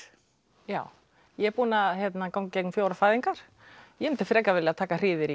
já ég er búin að ganga í gegnum fjórar fæðingar ég myndi frekar vilja taka hríðir